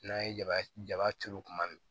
N'an ye jaba jaba turu tuma min